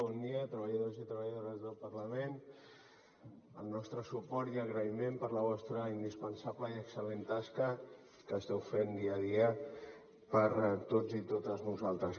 bon dia treballadors i treballadores del parlament el nostre suport i agraïment per la vostra indispensable i excel·lent tasca que esteu fent dia a dia per a tots i totes vosaltres